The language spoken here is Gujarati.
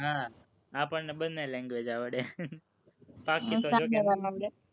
હં આપણને બંને language આવડે